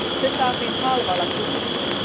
Se saatiin halvalla tukittua.